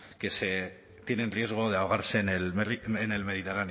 que tienen riesgo de ahogarse en el